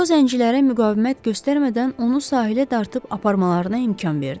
Co zəncilərə müqavimət göstərmədən onu sahilə dartıb aparmalarına imkan verdi.